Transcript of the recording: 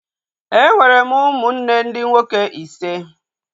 E nwere m ụmụnne ndị nwoke ise